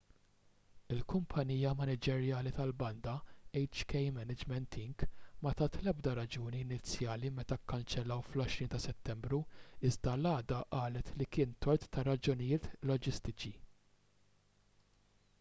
il-kumpanija maniġerjali tal-banda hk management inc ma tat l-ebda raġuni inizjali meta kkanċellaw fl-20 ta' settembru iżda l-għada qalet li kien tort ta' raġunijiet loġistiċi